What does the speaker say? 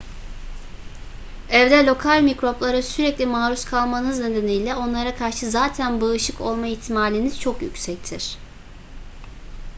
evde lokal mikroplara sürekli maruz kalmanız nedeniyle onlara karşı zaten bağışık olma ihtimaliniz çok yüksektir